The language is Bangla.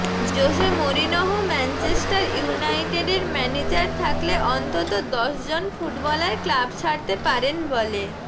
জোসে মোরিনহো ম্যাঞ্চেস্টার ইউনাইটেডের ম্যানেজার থাকলে অন্তত দশ জন ফুটবলার ক্লাব ছাড়তে পারেন বলে